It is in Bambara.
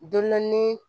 Dondɔn ni